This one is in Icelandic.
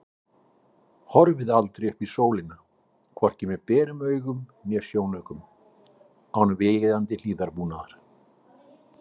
Horfið aldrei upp í sólina, hvorki með berum augum né sjónaukum, án viðeigandi hlífðarbúnaðar.